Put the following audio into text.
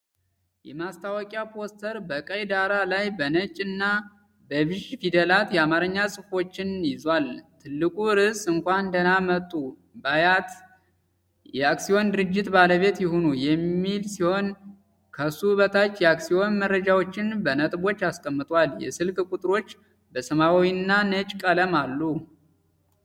የማስታወቂያ ፖስተር በቀይ ዳራ ላይ በነጭ እና በቢዥ ፊደላት የአማርኛ ጽሑፎችን ይዟል። ትልቁ ርዕስ "እንኳን ደህና መጡ! በአያት አክሲዮን ድርጅት ባለቤት ይሁኑ!" የሚል ሲሆን፣ ከሱ በታች የአክሲዮን መረጃዎችን በነጥቦች አስቀምጧል። የስልክ ቁጥሮች በሰማያዊና ነጭ ቀለም አሉ።